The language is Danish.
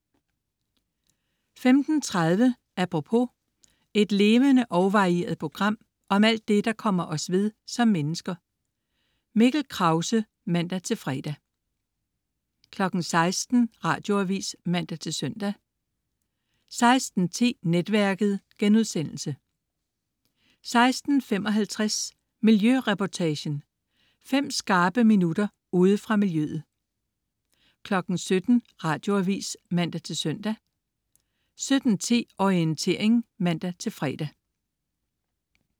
15.30 Apropos. Et levende og varieret program om alt det, der kommer os ved som mennesker. Mikkel Krause (man-fre) 16.00 Radioavis (man-søn) 16.10 Netværket* 16.55 Miljøreportagen. Fem skarpe minutter ude fra miljøet 17.00 Radioavis (man-søn) 17.10 Orientering (man-fre)